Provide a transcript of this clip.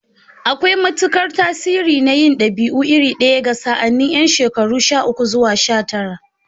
Akwai matukar tasiri na yin dabi'u iri ɗaya ga sa'anni yan shekaru sha uku zuwa sha tara.